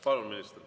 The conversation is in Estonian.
Palun, minister!